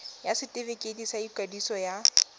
ya setefikeiti sa ikwadiso ya